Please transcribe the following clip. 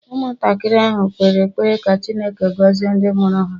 Ụmụntakịrị ahụ kpere ekpere ka Chineke gọzie ndị mụrụ ha